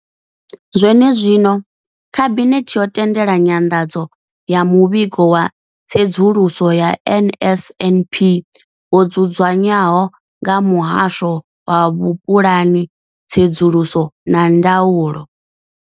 Zwenezwino, Khabinethe yo tendela nyanḓadzo ya Muvhigo wa Tsedzuluso ya NSNP wo dzudzanywaho nga Muhasho wa Vhupulani, Tsedzuluso na Ndaulo.